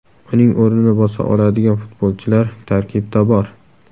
Uning o‘rnini bosa oladigan futbolchilar tarkibda bor.